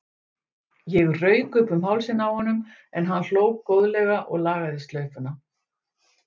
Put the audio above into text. Ég rauk upp um hálsinn á honum en hann hló góðlega og lagaði slaufuna.